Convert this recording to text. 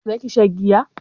za ki sha giya?